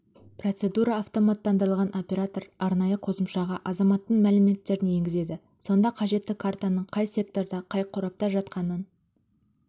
процедура автоматтандырылған оператор арнайы қосымшаға азаматтың мәліметтерін енгізеді сонда қажетті картаның қай секторда қай қорапта жатқанын